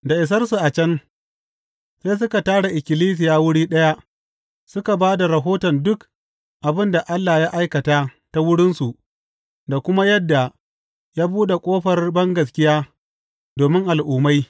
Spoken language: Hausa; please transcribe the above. Da isarsu a can, sai suka tara ikkilisiya wuri ɗaya suka ba da rahoton duk abin da Allah ya aikata ta wurinsu da kuma yadda ya buɗe ƙofar bangaskiya domin Al’ummai.